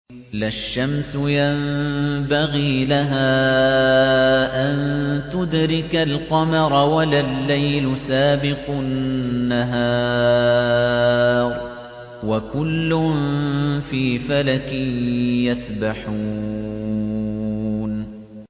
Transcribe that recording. لَا الشَّمْسُ يَنبَغِي لَهَا أَن تُدْرِكَ الْقَمَرَ وَلَا اللَّيْلُ سَابِقُ النَّهَارِ ۚ وَكُلٌّ فِي فَلَكٍ يَسْبَحُونَ